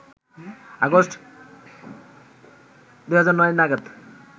August ২০০৯ নাগাদ